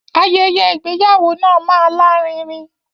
Ayẹyẹ ìgbéyàwó náà máa lárinrin.